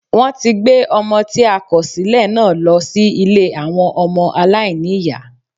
Wọ́n ti gbé Ọmọ tí a kòsílẹ̀ náà lọ sí Ilé àwọn ọmọ aláìníìyá